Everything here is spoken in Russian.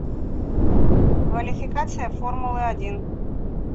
квалификация формулы один